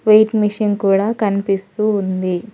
Wait machine కూడా కనిపిస్తూ ఉంది.